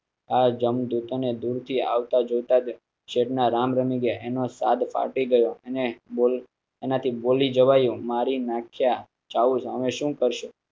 આ જમ દૂત ને દૂર થી આવતા જોતાં જ શેઠ ના રામ રમી ગયા એનો સાદ ફાટી ગયો. અને એનાથી બોલી જવાયુંમારી નાખ્યા ચાઊસ અમે શું કરશો?